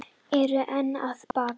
Eru enn að baka